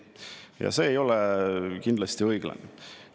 Ja see ei ole kindlasti õiglane.